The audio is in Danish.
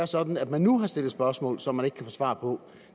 sådan at man nu har stillet spørgsmål som man ikke kan få svar på